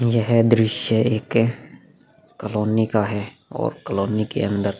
यह दृश्य एक कॉलोनी का है और कॉलोनी के अंदर --